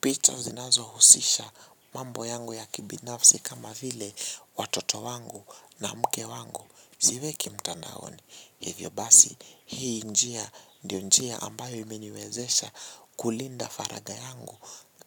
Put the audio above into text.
Picha zinazohusisha mambo yangu ya kibinafsi kama vile watoto wangu na mke wangu siweki mtandaoni. Hivyo basi hii njia ndio njia ambayo imeniwezesha kulinda faragha yangu